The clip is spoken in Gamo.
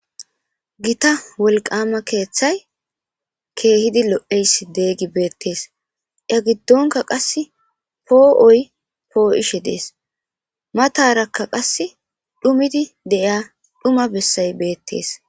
Gita wolqama keeththay keehidi lo7eyssi deeygi beettees ya giddonka qass poo7oy poo7ishe dees matarakka qass dhumidi de7ia dhuma bessay beettees.